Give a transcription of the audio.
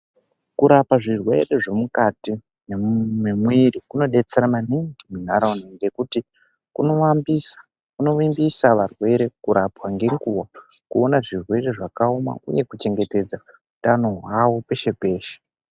Kurapa zvirwere zvemukati mwemuviri kunodetsera maningi munharaunda ngekuti kunoambisa kunovimbisa varwere kurapwa ngenguwa kuona zvirwere zvakaoma uye kuchengetedza utano hwawo peshe peshe.